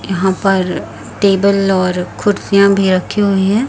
यहां पर टेबल और कुर्सियां भी रखी हुई है।